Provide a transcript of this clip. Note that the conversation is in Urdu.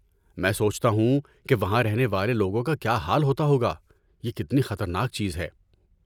میں سوچتا ہوں کہ وہاں رہنے والے لوگوں کا کیا حال ہوتا ہوگا، یہ کتنی خطرناک چیز ہے!